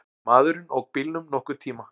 Maðurinn ók bílnum nokkurn tíma.